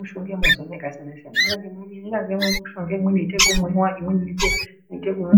Mishonga yemazuwanaya yakasiyana siyana ingave imweni inoita kumwa imwe kunga